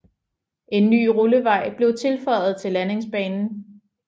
En ny rullevej blev tilføjet til landingsbanen